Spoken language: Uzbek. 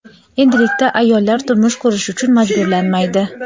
endilikda ayollar turmush qurish uchun majburlanmaydi.